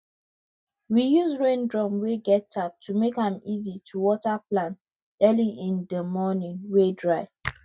we use rain drum wey get tap to make am easy to water plant early in di morning wey dry